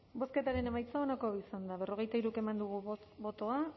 bozketaren emaitza onako izan da hirurogeita hamabost eman dugu bozka